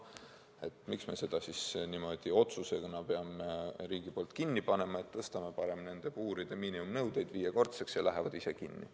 Et miks me siis niimoodi riigi otsusega peame farmid kinni panema, tõstame parem puuride miinimumnõuded viiekordseks, ja need lähevad ise kinni.